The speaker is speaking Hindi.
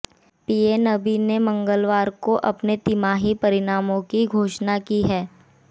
पीएनबी ने मंगलवार को अपने तिमाही परिणामों की घोषणा की है